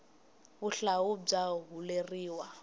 vuhlalu bya huleriwa